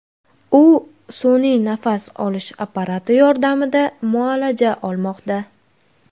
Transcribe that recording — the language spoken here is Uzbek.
U sun’iy nafas olish apparati yordamida muolaja olmoqda.